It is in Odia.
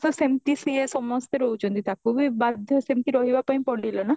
ସେମିତି ସିଏ ସମସ୍ତେ ରହୁଛନ୍ତି ତାକୁ ବି ବାଧ୍ୟ ସେମିତି ରହିବା ପାଇଁ ପଡିଲା ନା